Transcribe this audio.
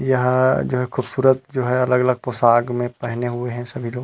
यहाँ जो खूबसूरत जो है अलग-अलग पोसग में पहने हुए है सब लोग।